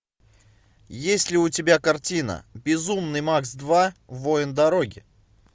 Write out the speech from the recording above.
есть ли у тебя картина безумный макс два воин дороги